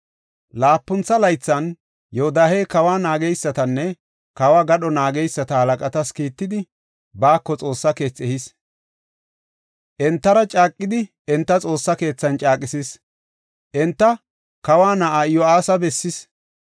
Laapuntha laythan Yoodahey kawa naageysatanne kawo gadho naageysata halaqatas kiittidi, baako Xoossa keethi ehis. Entara caaqidi, enta Xoossa keethan caaqisis; enta kawa na7aa Iyo7aasa bessis.